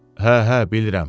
Hə, hə, bilirəm.